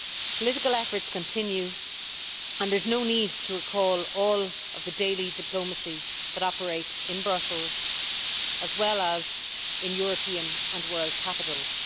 Political efforts continue, and there is no need to recall all of the daily diplomacy that operates in Brussels as well as in European and world capitals.